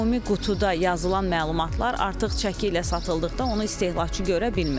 Ümumi qutuda yazılan məlumatlar artıq çəki ilə satıldıqda onu istehlakçı görə bilmir.